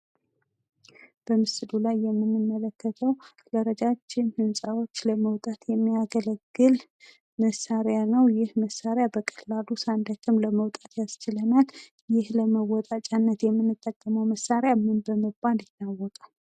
በምስሉ ላይ የምንመለከተው ለረጃጅም ህንፃዎች ለመውጣት የሚያገለግል መሳሪያ ነው ። ይህ መሳሪያ በቀላሉ ሳንደክም ለመውጣት ያስችለናል ይህ ለመወጣጫነት የምንጠቀመው መሳሪያ ምን በመባል ይታወቃል?